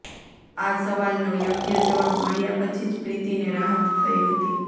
આ સવાલનો યોગ્ય જવાબ મળ્યા પછી જ પ્રીતિને રાહત થઈ હતી